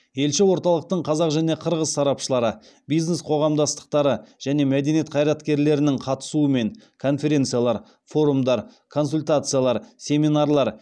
елші орталықтың қазақ және қырғыз сарапшылары бизнес қоғамдастықтары және мәдениет қайраткерлерінің қатысуымен конференциялар форумдар консультациялар семинарлар